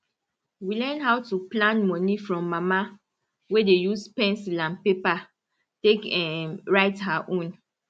we learn how to plan money from mama wey dey use pencil and paper take um write her own